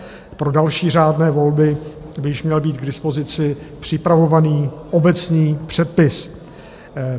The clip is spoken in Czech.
Pro další řádné volby by již měl být k dispozici připravovaný obecný předpis.